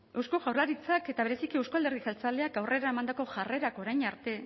eusko jaurlaritzak eta bereziki euzko alderdi jeltzaleak aurrera emandako jarrerak orain arte